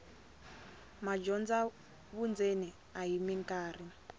madyondza vundzeni a hi mikarhi